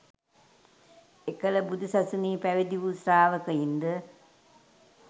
එකල බුදු සසුනේ පැවිදි වූ ශ්‍රාවකයින්ද